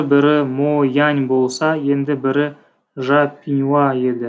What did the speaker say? бірі мо яань болса енді бірі жа піңуа еді